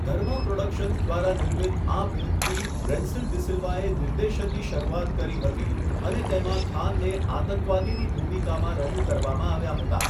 ધર્મા productions દ્વારા નિર્મિત આ ફિલ્મથી રેન્સિલ ડિ સિલ્વાએ નિર્દેશનની શરૂઆત કરી હતી અને તેમાં ખાનને આતંકવાદીની ભૂમિકામાં રજૂ કરવામાં આવ્યા હતા.